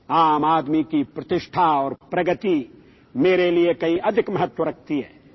عام آدمی کا وقار اور ترقی میرے لیے کہیں زیادہ اہمیت رکھتی ہے